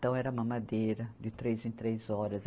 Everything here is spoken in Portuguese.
Então, era mamadeira de três em três horas.